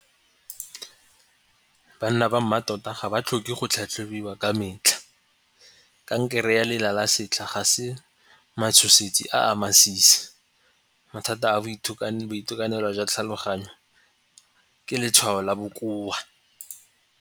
Banna ba mmatota ga ba tlhoke go tlhatlhobiwa ka metlha. Kankere ya lela la setlha ga se matshosetsi a a masisi. Mathata a boitekanelo jwa tlhaloganyo ke letshwao la bokoa.